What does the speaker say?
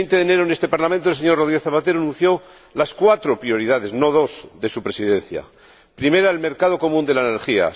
El 20 de enero, en este Parlamento, el señor Rodríguez Zapatero anunció las cuatro prioridades —no dos— de su Presidencia primera, el mercado común de la energía